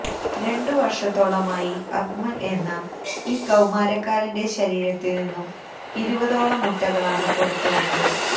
രണ്ടു വര്ഷത്തോളമായി അക്മല് എന്ന ഈ കൌമാരക്കാരന്റെ ശരീരത്തില് നിന്നും ഇരുപതോളം മുട്ടകളാണ് പുറത്തു വന്നത്